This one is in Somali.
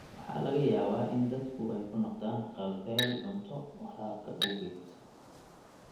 Waxaa laga yaabaa in dadku ay ku noqdaan haqab-beel cunto waraabka awgeed.